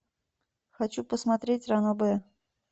хочу посмотреть ранобэ